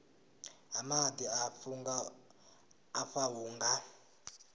ha maḓi afha hu nga